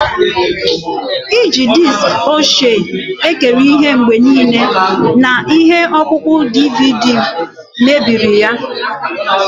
Iji diski ochie ekiri ihe mgbe niile na ihe ọkpụkpọ DVD mebiri ya.